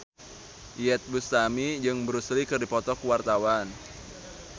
Iyeth Bustami jeung Bruce Lee keur dipoto ku wartawan